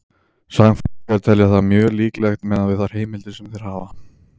Sagnfræðingar telja það þó mjög líklegt miðað við þær heimildir sem þeir hafa.